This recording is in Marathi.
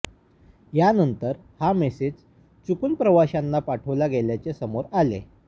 यानंतर हा मेसेज चुकून प्रवाशांना पाठवला गेल्याचे समोर आले